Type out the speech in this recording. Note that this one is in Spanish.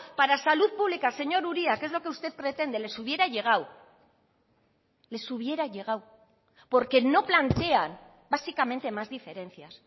para salud pública señor uria que es lo que usted pretende les hubiera llegado les hubiera llegado porque no plantean básicamente más diferencias